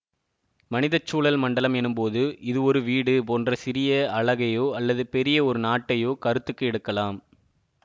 மனித சூழல் மண்டலம் எனும்போது இது ஒரு வீடு போன்ற சிறிய அலகையோ அல்லது பெரிய ஒரு நாட்டையோ கருத்துக்கு எடுக்கலாம்